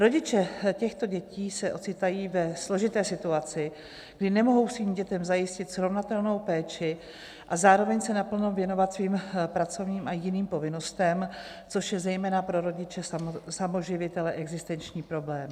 Rodiče těchto dětí se ocitají ve složité situaci, kdy nemohou svým dětem zajistit srovnatelnou péči a zároveň se naplno věnovat svým pracovním a jiným povinnostem, což je zejména pro rodiče samoživitele existenční problém.